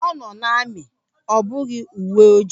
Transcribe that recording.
Ọ nọ na amị ọ bụghị uwe ojii.